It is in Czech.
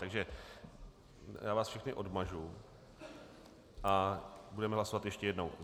Takže já vás všechny odmažu a budeme hlasovat ještě jednou.